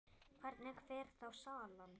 Hvernig fer þá salan?